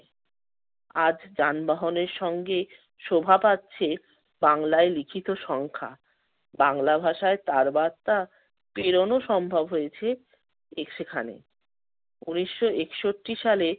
আজ যানবাহনের সঙ্গে শোভা পাচ্ছে বাংলায় লিখিত সংখ্যা। বাংলা ভাষায় তার বার্তা প্রেরণও সম্ভব হয়েছে এ~ সেখানে। ঊনিশ একষট্টি সালে